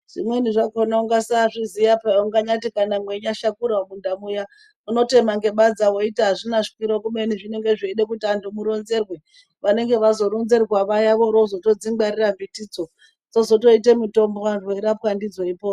Zvimweni zvakhona ungasaazviziya paa unganyati kana mweinganyashakura mumunda muya unotema ngebadza weiti azvina shwiro kubeni zvinenge zveide kuti antu muronzerwe vanenge varonzerwa vaya vorozotodzingwarira mutidzo dzosoite mutombo antu eirapwa ndidzo eipo.